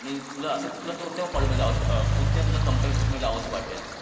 तुला असलं कोणत्या कंपनीत जावंसं वाटेल?